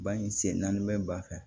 Ba in sen naani bɛ ba fɛ